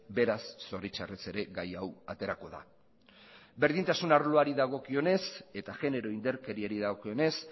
beraz zoritxarrez ere gai hau aterako da berdintasun arloari dagokionez eta genero indarkeriari dagokionez